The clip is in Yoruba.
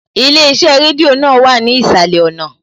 Ilé iṣẹ́ rédíò náà wà ní ìsàlẹ̀ ọ̀nà